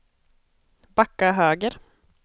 backa höger